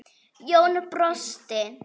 Jón brosti.